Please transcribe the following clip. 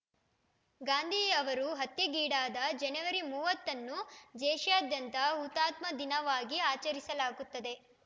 ಗಾಂಧಿ ಅವರು ಹತ್ಯೆಗೀಡಾದ ಜನವರಿ ಮೂವತ್ತ ಅನ್ನು ದೇಶಾದ್ಯಂತ ಹುತಾತ್ಮ ದಿನವಾಗಿ ಆಚರಿಸಲಾಗುತ್ತದೆ